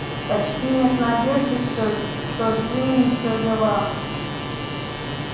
почти нет надежды что джинни ещё жива